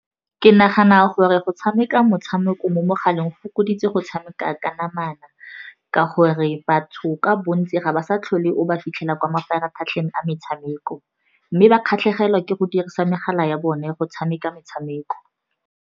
Ke nagana gore go tshameka motshameko mo mogaleng go fokoditse go tshameka ka namana, ka gore batho ka bontsi ga ba sa tlhole o ba fitlhela kwa mafaratlhatlheng a metshameko, mme ba kgatlhegelwa ke go dirisa megala ya bone go tshameka metshameko.